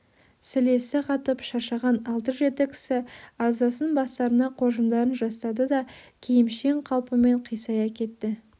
сілесі қатып шаршаған алты-жеті кісі аздасын бастарына қоржындарын жастады да киімшең қалпымен қисая кетті